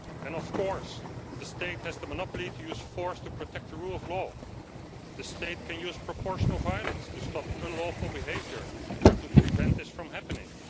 And of course the state has the monopoly to use force to protect the rule of law. The state can use proportionate violence to stop unlawful behaviour or to prevent this from happening.